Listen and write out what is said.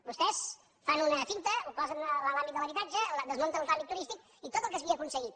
vostès fan una finta ho posen en l’àmbit de l’habitatge desmunten el tràmit turístic i tot el que s’havia aconseguit